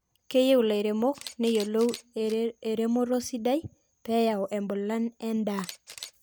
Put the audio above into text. keyieu laremok neyioloi eremoto sidai peeyau embulan endaa